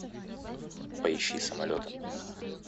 поищи самолеты